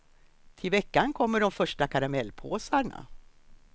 Till veckan kommer de första karamellpåsarna.